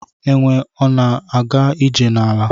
Enwe ọna aga ije na ala?